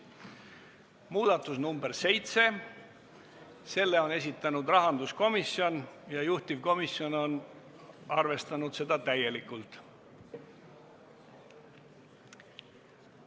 Muudatusettepanek nr 7, selle on esitanud rahanduskomisjon ja juhtivkomisjon on arvestanud seda täielikult.